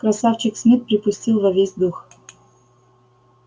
красавчик смит припустил во весь дух